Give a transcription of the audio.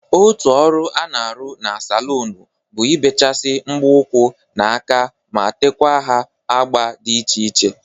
Otu ọrụ a na-arụ na salụnụ bụ ibechasi mbọ ụkwụ na aka ma tekwa ha agba dị iche iche.